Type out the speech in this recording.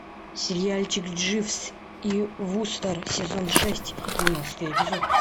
сериальчик дживс и вустер сезон шесть двенадцатый эпизод